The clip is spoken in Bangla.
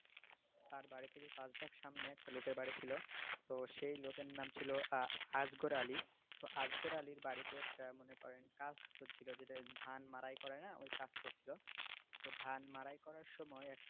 তার বাড়ির থেকে পাঁচ ধাপ সামনে একটা লোকের বাড়ি ছিল তো সেই লোকের নাম ছিল আআজগর আলি তো আজর আলির বাড়িতে একটা মনে করেন উৎসব ছিল যেটা ধান মাড়াই করেনা? ওই কাজ চলছিল তো ধান মাড়াই করার সময়ে,